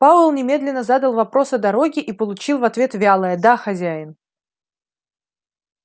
пауэлл немедленно задал вопрос о дороге и получил в ответ вялое да хозяин